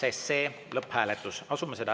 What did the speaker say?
Aitäh!